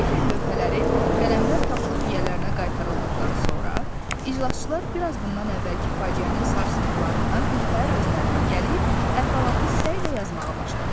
Qrifer lövhələri, qələmlər tapılıb yiyələrinə qaytarıldıqdan sonra, iclasçılar bir az bundan əvvəlki faciənin sarsıntılarından birtəhər özlərinə gəlib, əhvalatı səylə yazmağa başladılar.